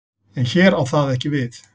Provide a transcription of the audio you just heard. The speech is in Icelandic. En hér á það ekki við.